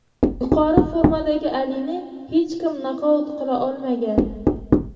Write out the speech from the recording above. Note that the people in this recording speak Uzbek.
Yuqori formadagi Alini hech kim nokaut qila olmagan.